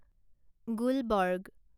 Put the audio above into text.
Gulbarga